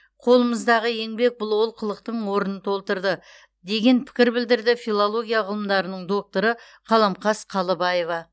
қолымыздағы еңбек бұл олқылықтың орнын толтырды деген пікір білдірді филология ғылымдарының докторы қаламқас қалыбаева